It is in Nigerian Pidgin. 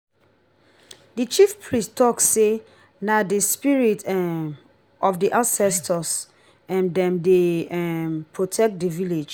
di chiefpriest tok sey na di spirit um of di ancestor um dem dey um protect di village.